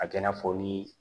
A kɛ i n'a fɔ ni